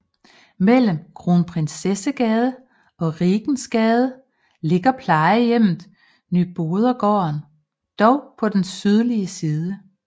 Mellem Kronprinsessegade og Rigensgade ligger plejehjemmet Nybodergaarden dog på den sydlige side